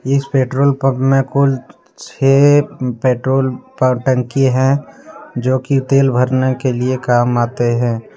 इस petrol pump में कुल छे पेट्रोल प टंकी है जोकि तेल भरने के लिए काम आते हैं।